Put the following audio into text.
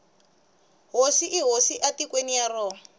hosi i hosi etikweni ra yona